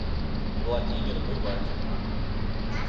владимир бывакин